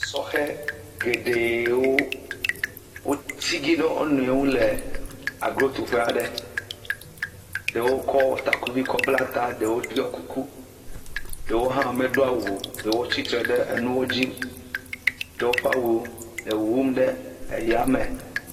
Sɔhɛ geɖewo, wò tigi ɖe wò nɔewo nu le gro tuƒe aɖe. Ɖewo kɔ takuvi kɔ bla ta,.ɖewo ɖoe kuku, ɖewo hã medo awu o. Ɖewo tsi tre ɖe enuwo dzi. Tsɔ woƒe awuwo le wuwum ɖe aya me.